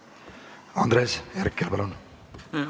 Andres Herkel, palun!